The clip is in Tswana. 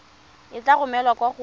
e tla romelwa kwa go